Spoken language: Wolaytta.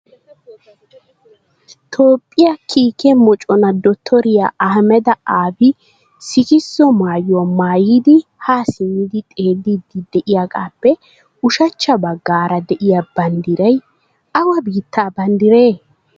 Toophiya kiike moccona Dottoriya Ahhamedi Aabi siiksso maayuwaa maayidi ha simmidi xeelidi de'iyaagappe ushachcha baggaara de'iya banddiray awa biittaa banddiree?